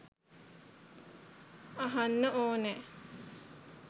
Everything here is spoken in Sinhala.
අහන්න ඕනෑ.